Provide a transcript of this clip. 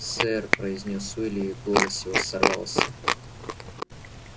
сэр произнёс уилли и голос его сорвался